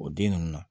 O den ninnu na